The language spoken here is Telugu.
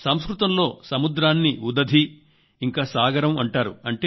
సంస్కృతంలో సముద్రాన్ని ఉదధి ఇంకా సాగరం అంటారు